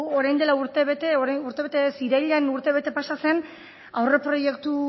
orain dela urtebete urtebete ez irailean urtebete pasa zen aurreproiektu